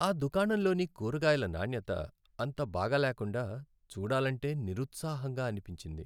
ఆ దుకాణంలోని కూరగాయల నాణ్యత అంత బాగా లేకుండా, చూడాలంటే నిరుత్సాహంగా అనిపించింది.